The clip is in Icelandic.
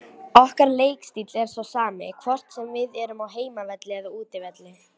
Okkar leikstíll er sá sami, hvort sem við erum á heimavelli eða útivelli.